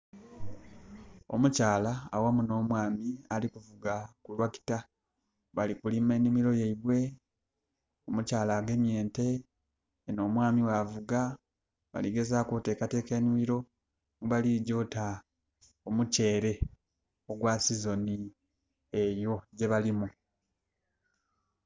Omukyala aghamu n'omwami alikuvuga tractor, balikulima ennimiro yaibwe. Omukyala agemye ente eno omwami bwavuga. Baligezaaki otekateka ennimiro mwebaligya ota omukyere ogwa season eyo gyebalimu.